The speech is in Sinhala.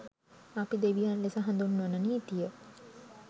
අපි දෙවියන් ලෙස හඳුන්වන නීතිය